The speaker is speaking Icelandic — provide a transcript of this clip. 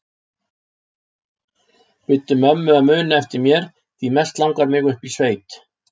Biddu mömmu að muna eftir mér því mest langar mig upp í sveit